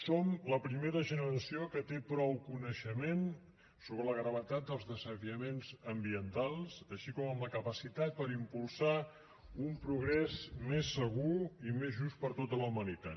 som la primera generació que té prou coneixement sobre la gravetat dels desafiaments ambientals així com la capacitat per impulsar un progrés més segur i més just per a tota la humanitat